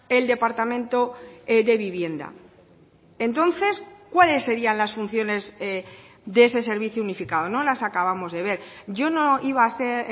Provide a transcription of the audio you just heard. el departamento de vivienda entonces cuáles serían las funciones de ese servicio unificado no las acabamos de ver yo no iba a ser